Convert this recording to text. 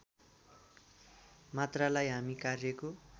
मात्रालाई हामी कार्यको